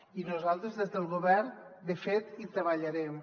i nosaltres des del govern de fet hi treballarem